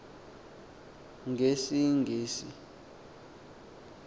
ngesingesi